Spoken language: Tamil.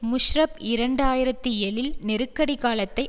முஷரப் இரண்டு ஆயிரத்தி ஏழில் நெருக்கடி காலத்தை